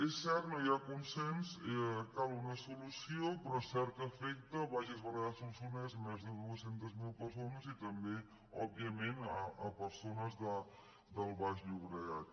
és cert no hi ha consens cal una solució però és cert que afecta bages berguedà solsonès més de dos cents miler persones i també òbviament persones del baix llo·bregat